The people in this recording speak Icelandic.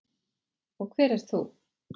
Og hver ert þú?